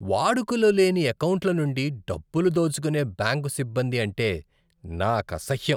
వాడుకలో లేని ఎకౌంట్ల నుండి డబ్బులు దోచుకునే బ్యాంకు సిబ్బంది అంటే నాకసహ్యం.